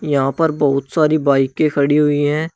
यहां पर बहुत सारी बाइके खड़ी हुई है।